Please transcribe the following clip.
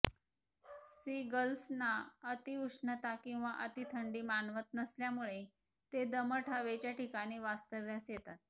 C गल्सना अतिउष्णता किंवा अतिथंडी मानवत नसल्यामुळे ते दमट हवेच्या ठिकाणी वास्तव्यास येतात